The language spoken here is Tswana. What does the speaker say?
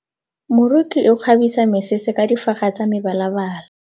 Moroki o kgabisa mesese ka difaga tsa mebalabala.